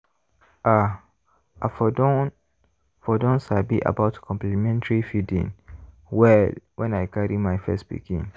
ah! i for don for don sabi about complementary feeding well when i carry my first pikin.